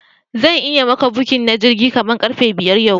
Zanyi maka booking na jirgi kaman karfe biyar yau